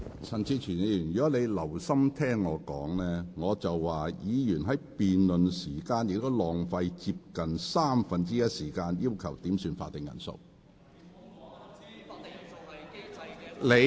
陳志全議員，如果你有留心聆聽，我剛才是說，議員在辯論期間亦浪費了接近三分之一時間，要求點算法定人數。